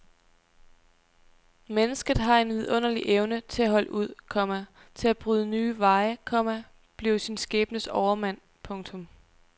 Mennesket har en vidunderlig evne til at holde ud, komma til at bryde nye veje, komma blive sin skæbnes overmand. punktum